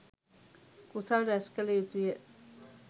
කුසල් රැස් කළ යුතුය.